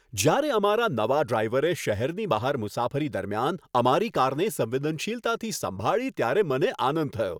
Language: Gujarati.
જ્યારે અમારા નવા ડ્રાઈવરે શહેરની બહાર મુસાફરી દરમિયાન અમારી કારને સંવેદનશીલતાથી સંભાળી ત્યારે મને આનંદ થયો.